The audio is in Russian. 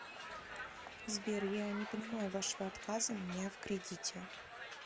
сбер я не понимаю вашего отказа мне в кредите